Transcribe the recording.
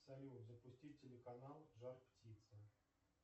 салют запустить телеканал жар птица